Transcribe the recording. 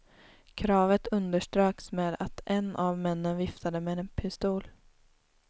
Kravet underströks med att en av männen viftade med en pistol.